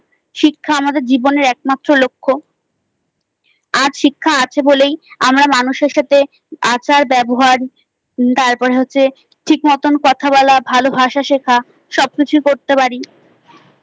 শিক্ষা আমাদের জীবনের একমাত্র লক্ষ্য। আর শিক্ষা আছে বলেই আমরা মানুষের সাথে আচার ব্যবহার তারপরে হচ্ছে ঠিকমত কথা বলা ভালো ভাষা শেখা সবকিছু করতে পারি।